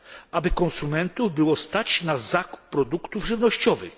cenach aby konsumentów było stać na zakup produktów żywnościowych.